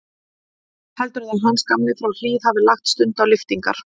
Heldurðu að Hans gamli frá Hlíð hafi lagt stund á lyftingar?